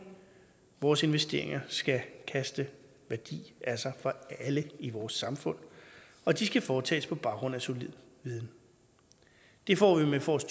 vores investeringer skal kaste værdi af sig for alle i vores samfund og de skal foretages på baggrund af solid viden det får vi med forsk